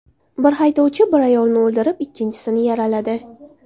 Bir haydovchi bir ayolni o‘ldirib, ikkinchisini yaraladi.